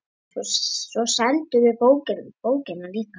Svo seldum við bókina líka.